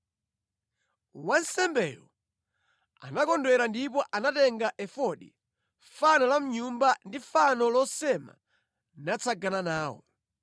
Wansembeyo anakondwera ndipo anatenga efodi, fano la mʼnyumba ndi fano losema natsagana nawo.